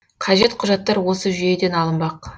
қажет құжаттар осы жүйеден алынбақ